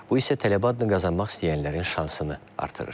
Bu isə tələbə adını qazanmaq istəyənlərin şansını artırır.